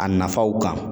A nafaw kan